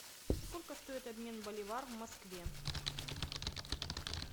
сколько стоит обмен боливар в москве